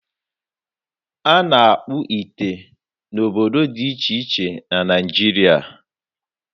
A na-akpụ ite n'obodo dị iche iche na Naịjiria.